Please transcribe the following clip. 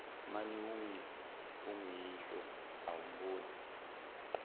mani unguyihlo awumboni